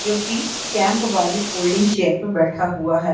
जोकि कैंप वाली folding chair पर बैठा हुआ हैं।